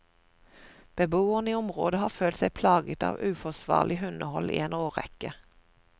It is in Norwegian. Beboerne i området har følt seg plaget av uforsvarlig hundehold i en årrekke.